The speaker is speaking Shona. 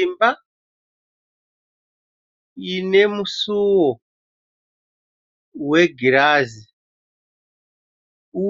Imba ine musuwo wegirazi